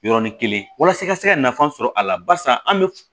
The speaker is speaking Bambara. Yɔrɔnin kelen walasa i ka se ka nafa sɔrɔ a la barisa an bɛ